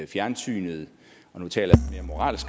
fjernsynet og nu taler